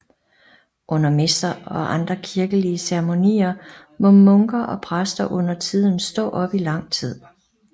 Under messer og andre kirkelige ceremonier må munker og præster undertiden stå op i lang tid